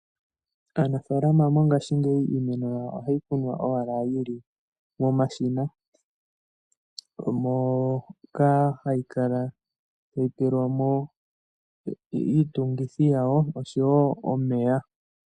Aanafalama mongashingeyi iinima yawo ohayi kunwa owala yili momashina moka hayi kala tayi tekelwa mo iitungithi yawo oshowo omeya.